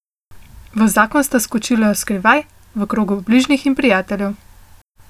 V zakon sta skočila skrivaj, v krogu bližnjih in prijateljev.